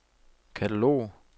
katalog